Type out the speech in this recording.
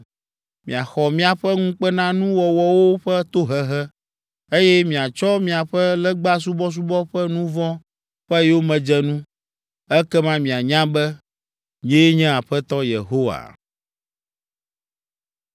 Miaxɔ miaƒe ŋukpenanuwɔwɔwo ƒe tohehe, eye miatsɔ miaƒe legbasubɔsubɔ ƒe nu vɔ̃ ƒe yomedzenu. Ekema mianya be nyee nye Aƒetɔ Yehowa.”